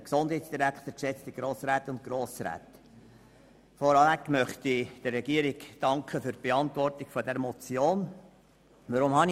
Zuerst möchte ich der Regierung für die Beantwortung der Motion danken.